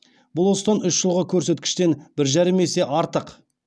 бұл осыдан үш жылғы көрсеткіштен бір жарым есе артық